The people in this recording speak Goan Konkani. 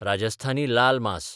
राजस्थानी लाल मास